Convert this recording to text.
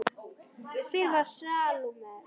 Hver var Salóme?